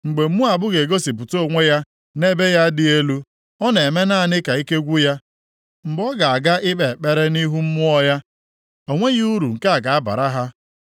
Mgbe Moab ga-egosipụta onwe ya nʼebe ya dị elu, ọ na-eme naanị ka ike gwụ ya, mgbe ọ ga-aga ikpe ekpere nʼihu mmụọ ya, o nweghị uru nke a ga-abara ha.